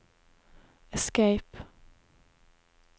escape